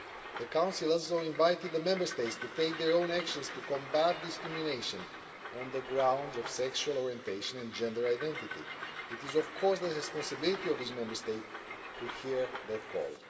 The Council also invited the Member States to take their own actions to combat discrimination on the grounds of sexual orientation and gender identity. It is, of course, the responsibility of the Member States to hear that call.